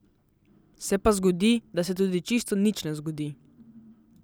Se pa zgodi, da se tudi čisto nič ne zgodi.